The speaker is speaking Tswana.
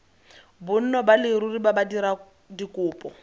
bonno ba leruri ya badiradikopo